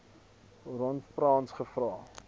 ron frans gevra